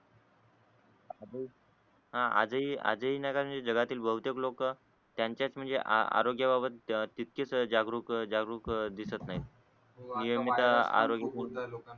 हा आजही आजही विनाकारण जगातील बहुतेक लोक त्याच्याच म्हणजे आरोग्या बाबत तितकेच जागरूक जागरूक दिसत नाही हो आणि नियमित आरोग्य